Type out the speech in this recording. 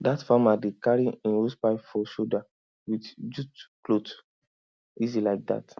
that farmer dey carry im hosepipe for shoulder with jute clothe easy like that